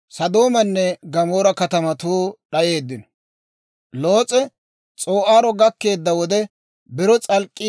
Loos'e S'oo'aaro gakkeedda wode, biro s'alk'k'ii doleedda.